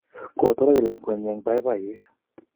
Kotoroch lakwennyi eng' poipoiyet